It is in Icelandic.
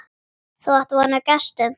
Þú átt von á gestum.